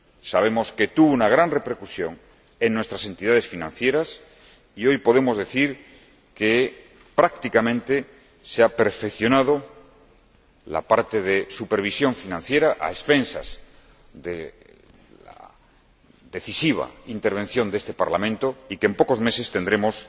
Sabemos que tuvo una gran repercusión en nuestras entidades financieras y hoy podemos decir que, prácticamente, se han perfeccionado los aspectos de supervisión financiera gracias a la decisiva intervención de este Parlamento y que, en pocos meses, tendremos